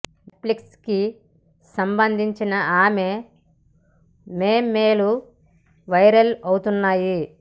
net ఫ్లిక్స్ కి సంబందించిన ఆమె మెమేలు వైరల్ అవుతున్నాయి